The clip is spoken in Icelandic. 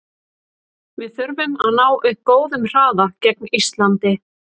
Við þurfum að ná upp góðum hraða gegn Íslandi.